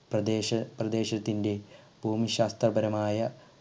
പ്രദേശ പ്രദേശത്തിൻറെ ഭൂമിശാസ്ത്രപരമായ